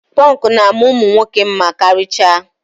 Pọnkụ na-ama ụmụ nwoke mma karịchaa.